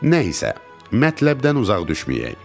Nə isə, mətləbdən uzaq düşməyək.